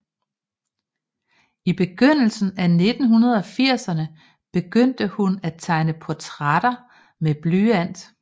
I begyndelsen af 1980erne begyndte hun at tegne portrætter med blyant